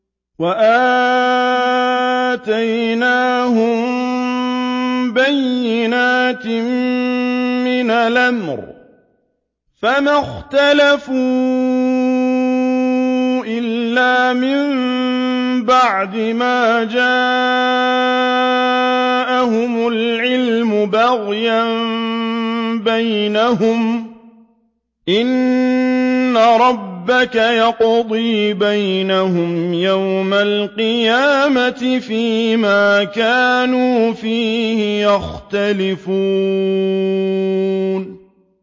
وَآتَيْنَاهُم بَيِّنَاتٍ مِّنَ الْأَمْرِ ۖ فَمَا اخْتَلَفُوا إِلَّا مِن بَعْدِ مَا جَاءَهُمُ الْعِلْمُ بَغْيًا بَيْنَهُمْ ۚ إِنَّ رَبَّكَ يَقْضِي بَيْنَهُمْ يَوْمَ الْقِيَامَةِ فِيمَا كَانُوا فِيهِ يَخْتَلِفُونَ